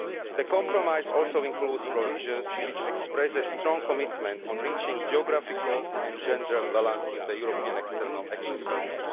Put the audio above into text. The compromise also includes provisions which express a strong commitment to reaching geographical and gender balance in the European External Action Service.